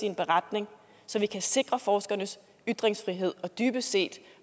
en beretning så vi kan sikre forskernes ytringsfrihed og dybest set